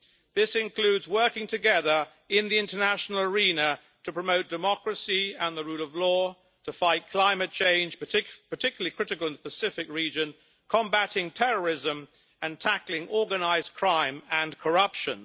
This includes working together in the international arena to promote democracy and the rule of law to fight climate change, particularly critical in the Pacific region, combating terrorism and tackling organised crime and corruption.